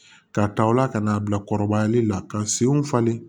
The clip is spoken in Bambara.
Ka tawla ka n'a bila kɔrɔbayali la ka senw falen